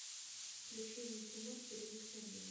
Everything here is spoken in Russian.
включи мне кино телевикторина